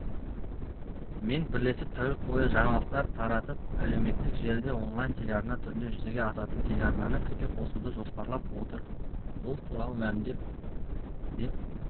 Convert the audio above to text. мен бірлесіп тәулік бойы жаңалықтар тарататып әлеуметтік желіде онлайн-телеарна түрінде жүзеге асатын телеарнаны іске қосуды жоспарлап отыр бұл туралы мәлімдеді деп